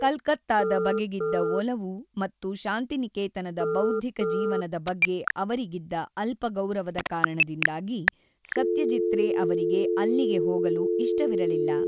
ಕಲ್ಕತ್ತಾದ ಬಗೆಗಿದ್ದ ಒಲವು ಮತ್ತು ಶಾಂತಿನಿಕೇತನದ ಬೌದ್ಧಿಕ ಜೀವನದ ಬಗ್ಗೆ ಅವರಿಗಿದ್ದ ಅಲ್ಪ ಗೌರವದ ಕಾರಣದಿಂದಾಗಿ ಸತ್ಯಜೀತ್ ರೇ ಅವರಿಗೆ ಅಲ್ಲಿಗೆ ಹೋಗಲು ಇಷ್ಟವಿರಲಿಲ್ಲ.